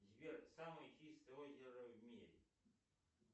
сбер самое чистое озеро в мире